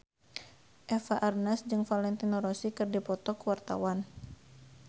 Eva Arnaz jeung Valentino Rossi keur dipoto ku wartawan